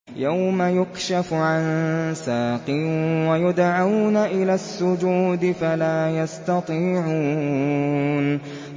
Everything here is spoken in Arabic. يَوْمَ يُكْشَفُ عَن سَاقٍ وَيُدْعَوْنَ إِلَى السُّجُودِ فَلَا يَسْتَطِيعُونَ